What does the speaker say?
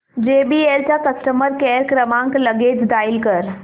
JBL चा customer care क्रमांक लगेच डायल कर